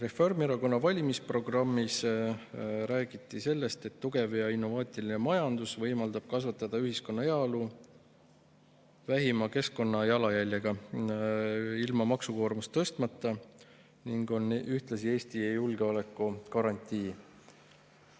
Reformierakonna valimisprogrammis räägiti sellest, et tugev ja innovaatiline majandus võimaldab kasvatada ühiskonna heaolu vähima keskkonnajalajäljega ja ilma maksukoormust tõstmata ning on ühtlasi Eesti julgeolekugarantii.